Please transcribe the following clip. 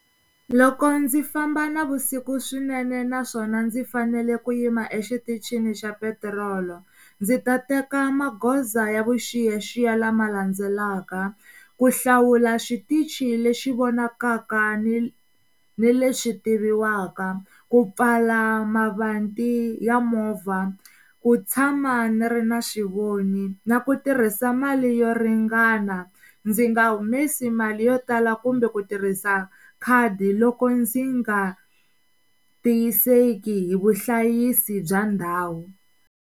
Loko ndzi famba navusiku swinene naswona ndzi fanele ku yima exitichini xa petirolo ndzi ta teka magoza ya vuxiyaxiya lama landzelaka, ku hlawula xitichi lexi vonakaka ni ni lexi tiviwaka, ku pfala mavanti ya movha, ku tshama ni ri na xivoni na ku tirhisa mali yo ringana, ndzi nga humesi mali yo tala kumbe ku tirhisa khadi loko ndzi nga tiyiseki hi vuhlayisi bya ndhawu.